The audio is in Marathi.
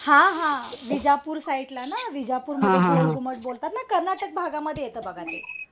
हा हा विजापूर साईडला ना विजापूर मध्ये गोलघुमट बोलतात ना. कर्नाटक भागामध्ये येत बघा ते.